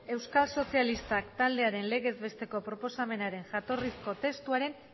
euskal sozialistak taldearen legez besteko proposamenaren jatorrizko testuaren